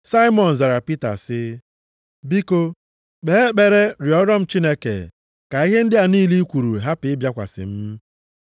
Saimọn zara Pita sị, “Biko, kpee ekpere rịọrọ m Chineke, ka ihe ndị a niile i kwuru, hapụ ịbịakwasị m.”